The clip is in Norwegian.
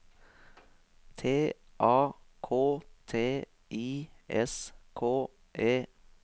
T A K T I S K E